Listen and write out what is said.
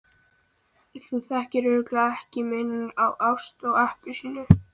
Þú þekkir örugglega ekki muninn á ást og appelsínu.